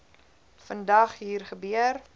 vandag hier gebeur